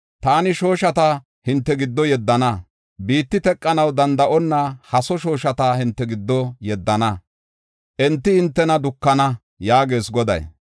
Taani shooshata hinte giddo yeddana. Biti teqanaw danda7onna haso shooshata hinte giddo yeddana; enti hintena dukana” yaagees Goday.